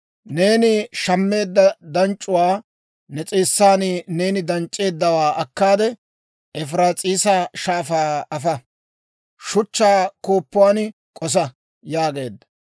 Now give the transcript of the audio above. «Neeni shammeedda danc'c'uwaa, ne s'eessan neeni danc'c'eeddawaa akkaade, Efiraas'iisa Shaafaa afa. Shuchchaa kooppuwan k'osa» yaageedda.